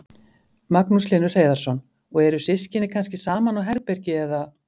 Magnús Hlynur Hreiðarsson: Og eru systkini kannski saman á herbergi eða?